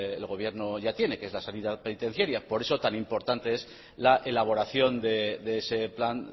el gobierno ya tiene que es la sanidad penitenciaria por eso tan importante es la elaboración de ese plan